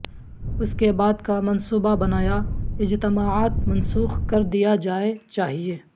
اس کے بعد کا منصوبہ بنایا اجتماعات منسوخ کر دیا جائے چاہئے